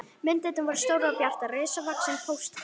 Myndirnar voru stórar og bjartar, risavaxin póstkort.